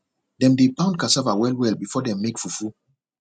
dem dey pound cassava well well before dem make fufu